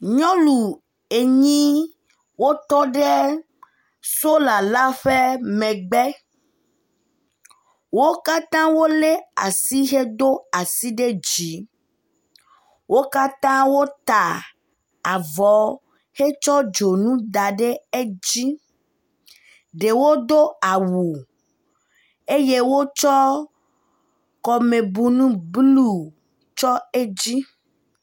Nyɔnu enyi wotɔɖe sola la ƒe megbe, wo katã wo le asi hedo asi ɖe dzi, wo katã wota avɔ hetsɔ dzonu da ɖe edzi ɖewo do awu eye wotsɔ kɔmebunu blue tsɔ edzi